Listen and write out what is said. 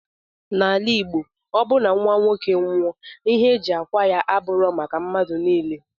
Na ala igbo ọbu na nwoke nwụọ ihe eji kwa ya aburọ maka madu nile.